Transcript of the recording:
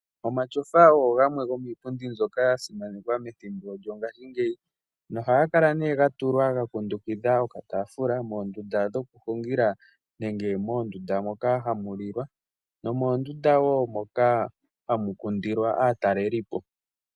Omatyofa oyo iipundi yimwe yashimanekwa mongaashingeyi yaningwa methimbo lyongaashingeyi. Ohayi kala yakundukidha okataafula moondunda dhokuhungila nenge moondunda dhokulila nomondunda wo moka hamu kundilwa aatalelipo.